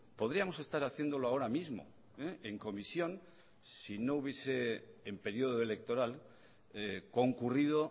podríamos estar haciéndolo ahora mismo en comisión si no hubiese en periodo electoral concurrido